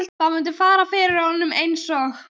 Það mundi fara fyrir honum eins og